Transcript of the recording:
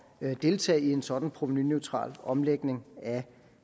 at deltage i en sådan provenuneutral omlægning af